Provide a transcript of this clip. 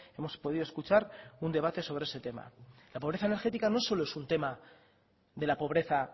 hemos podido escuchar un debate sobre ese tema la pobreza energética no solo es un tema de la pobreza